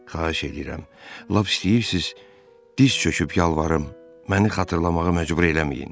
Xahiş eləyirəm, lap istəyirsiz diz çöküb yalvarım, məni xatırlamağa məcbur eləməyin.